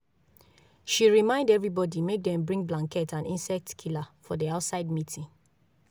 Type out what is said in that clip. she remind everybody make dem bring blanket and insect killer for the outside meeting